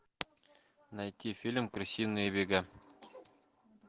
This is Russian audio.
найти фильм крысиные бега